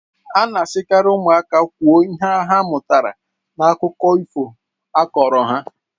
A na-asikarị ụmụaka kwuo ihe ha mụtara n'akụkọ ifo akọrọ ha.